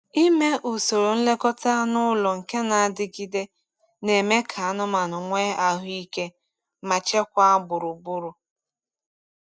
Ime usoro nlekọta anụ ụlọ nke na-adigide na-eme ka anụmanụ nwee ahụ ike ma chekwaa gburugburu.